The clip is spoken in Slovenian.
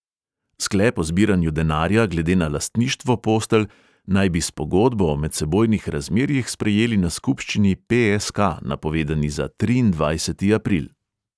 Sklep o zbiranju denarja glede na lastništvo postelj naj bi s pogodbo o medsebojnih razmerjih sprejeli na skupščini pe|es|ka, napovedani za triindvajseti april.